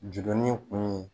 Jurunin kun ye